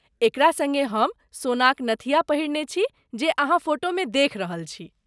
एकरा सङ्गे हम सोनाक नथिया पहिरने छी जे अहाँ फोटोमे देखि रहल छी।